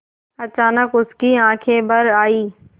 अचानक उसकी आँखें भर आईं